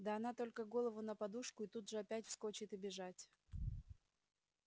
да она только голову на подушку и тут же опять вскочит и бежать